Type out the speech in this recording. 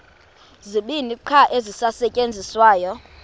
zibini qha ezisasetyenziswayo